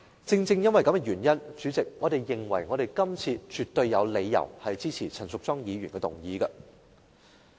主席，正因如此，我們認為今次絕對有理由支持陳淑莊議員的議案。